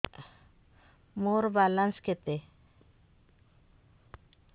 ମୋର ବାଲାନ୍ସ କେତେ